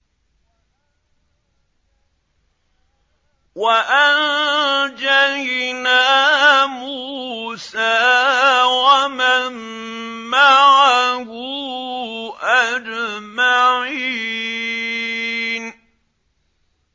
وَأَنجَيْنَا مُوسَىٰ وَمَن مَّعَهُ أَجْمَعِينَ